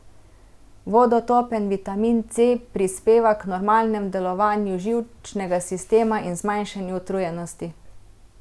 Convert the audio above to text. Vodotopen vitamin C prispeva k normalnemu delovanju živčnega sistema in zmanjšani utrujenosti.